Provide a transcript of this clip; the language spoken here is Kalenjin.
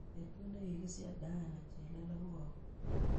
Betut ne kigisiche diana chelele ko au